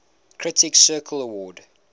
critics circle award